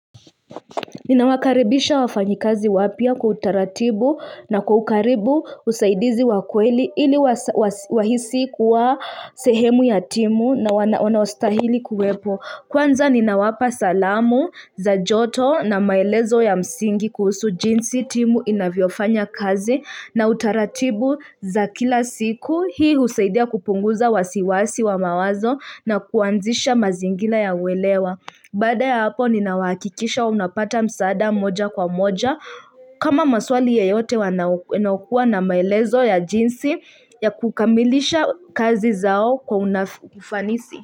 Ninawakaribisha wafanyikazi wapya kwa utaratibu na kwa karibu usaidizi wakweli ili wahisi kuwa sehemu ya timu na wanaostahili kuwepo. Kwanza ninawapa salamu za joto na maelezo ya msingi kuhusu jinsi timu inavyofanya kazi na utaratibu za kila siku hii usaidia kupunguza wasiwasi wa mawazo na kuanzisha mazingira ya welewa. Baada ya hapo ninawahakikisha unapata msaada moja kwa moja kama maswali yeyote wanaokuwa na maelezo ya jinsi ya kukamilisha kazi zao kwa unafanisi.